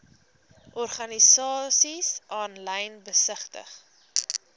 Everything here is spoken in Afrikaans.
organisasies aanlyn besigtig